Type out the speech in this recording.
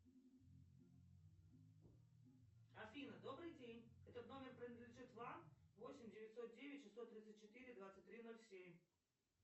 афина добрый день этот номер принадлежит вам восемь девятьсот девять шестьсот тридцать четыре двадцать три ноль семь